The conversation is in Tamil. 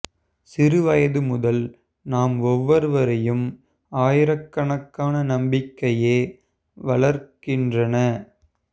சிறு வயது முதல் நம் ஒவ்வொருவரையும் ஆயிரக்கணக்கான நம்பிக்கைகளே வளர்க்கின்றன